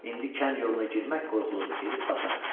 İndi kənd yoluna girmək qorxuludur, gedib batarıq.